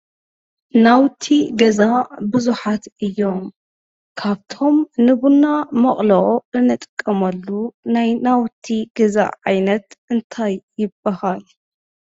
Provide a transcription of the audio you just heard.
ናውቲ ገዛ ብዙሓት እዮም ።ካብቶም ንቡና መቅለዊ እንጥቀመሉ ናይ ናውቲ ገዛ ዓይነት እንታይ ይባሃል ?